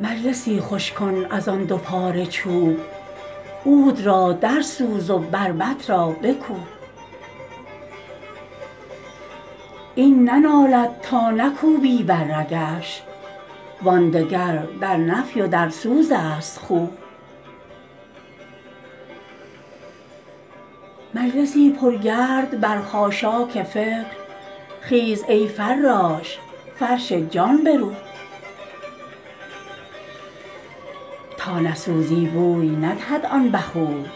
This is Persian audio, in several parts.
مجلسی خوش کن از آن دو پاره چوب عود را درسوز و بربط را بکوب این ننالد تا نکوبی بر رگش وان دگر در نفی و در سوزست خوب مجلسی پرگرد بر خاشاک فکر خیز ای فراش فرش جان بروب تا نسوزی بوی ندهد آن بخور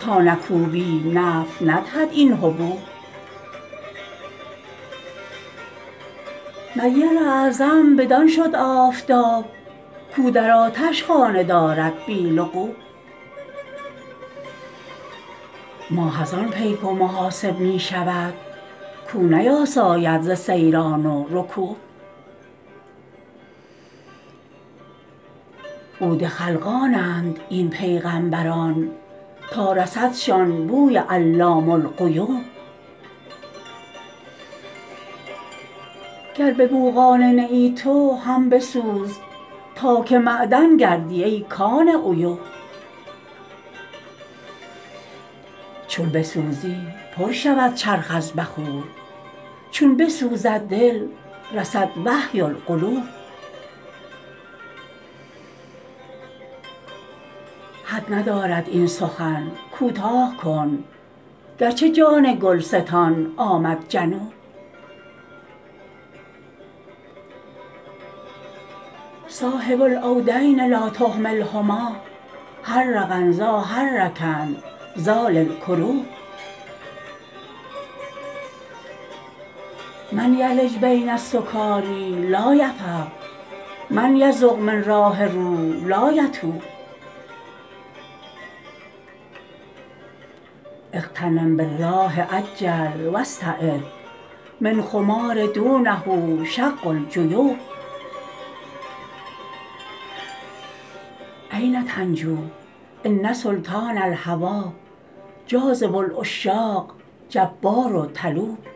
تا نکوبی نفع ندهد این حبوب نیر اعظم بدان شد آفتاب کو در آتش خانه دارد بی لغوب ماه از آن پیک و محاسب می شود کو نیاساید ز سیران و رکوب عود خلقانند این پیغمبران تا رسدشان بوی علام الغیوب گر به بو قانع نه ای تو هم بسوز تا که معدن گردی ای کان عیوب چون بسوزی پر شود چرخ از بخور چون بسوزد دل رسد وحی القلوب حد ندارد این سخن کوتاه کن گرچه جان گلستان آمد جنوب صاحب العودین لا تهملهما حرقن ذا حرکن ذا للکروب من یلج بین السکاری لا یفق من یذق من راح روح لا یتوب اغتنم بالراح عجل و استعد من خمار دونه شق الجیوب این تنجو ان سلطان الهوی جاذب العشاق جبار طلوب